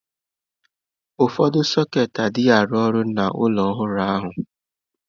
Ụfọdụ sọketị anaghị arụ ọrụ n'ụlọ ọhụrụ ahụ.